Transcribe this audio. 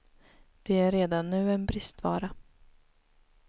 De är redan nu en bristvara.